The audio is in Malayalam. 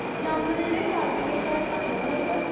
സ്പീക്കർ 1 നമ്മളുടെ നാട്ടിനെ കാട്ടി കൂടുതൽ